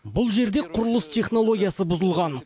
бұл жерде құрылыс технологиясы бұзылған